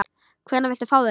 Hvenær viltu fá þau?